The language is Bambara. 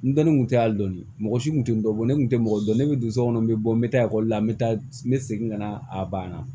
N dɔnni kun tɛ ali dɔɔnin mɔgɔ si kun tɛ n dɔn ne tun tɛ mɔgɔ dɔn ne bɛ don so kɔnɔ n bɛ bɔ n bɛ taa ekɔli la n bɛ taa n bɛ segin ka na a banna